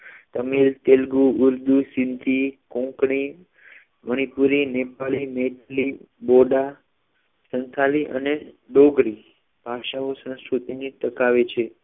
તમિલ તેલુગુ ઉર્દુ સિંધી કોંકણી મણિપુરી નેપાલી નેટફલિ બોડા સંથાલી અને ડોબરી ભાષાઓ સંસ્કૃતિની ટકાવે છે